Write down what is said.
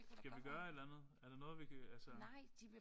Skal vi gøre et eller andet? Er der noget vi kan altså